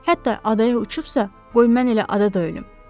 Hətta adaya uçubsa, qoy mən elə ada da ölüm.